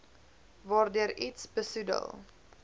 waardeur iets besoedel